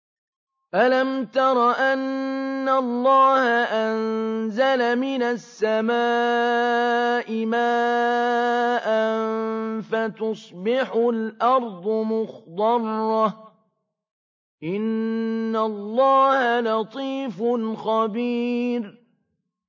أَلَمْ تَرَ أَنَّ اللَّهَ أَنزَلَ مِنَ السَّمَاءِ مَاءً فَتُصْبِحُ الْأَرْضُ مُخْضَرَّةً ۗ إِنَّ اللَّهَ لَطِيفٌ خَبِيرٌ